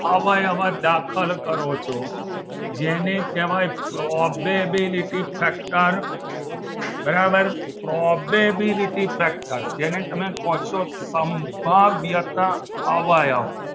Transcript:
અવયવ દાખલ કરો છો જેને કહેવાય probability factor બરાબર probebility factor જેને તમે કહો છો સંભવ્યત અવયવ